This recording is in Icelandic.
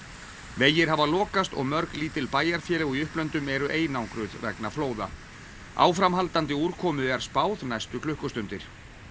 vegir hafa lokast og mörg lítil bæjarfélög í upplöndum eru einangruð vegna flóða áframhaldandi úrkomu er spáð næstu klukkustundir